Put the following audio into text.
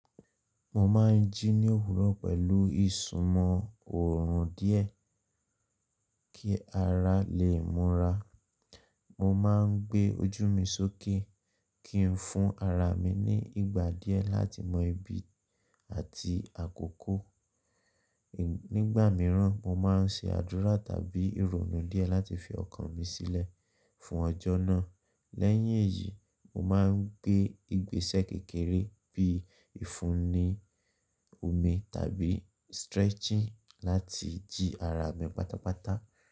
Mo máa ń jí ní òwúrọ̀ pẹ̀lú ìsumọ̀ òòrùn díẹ̀ kí ara lè múra. Mo má ń gbé ojú mi sókè kí n fún ara mi ní ìgbà díẹ̀ láti mọ ibi àti àkókò. Nígbà mìíràn, mo máa ń ṣe àdúrà tàbí ìrònú díẹ̀ láti fi ọkàn mi sílẹ̀ fún ọjọ́ náà. Lẹ́yìn èyí, mo má ń gbé ìgbésẹ̀ kékeré bí i ìfúnni omi tàbí stretching láti jí ara mi pátápátá.